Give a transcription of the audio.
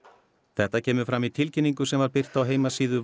þetta kemur fram í tilkynningu sem var birt á heimasíðu